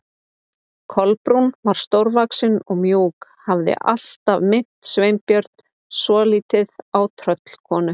Kolbrún var stórvaxin og mjúk, hafði alltaf minnt Sveinbjörn svolítið á tröllkonu.